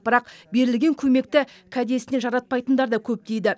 бірақ берілген көмекті кәдесіне жаратпайтындар да көп дейді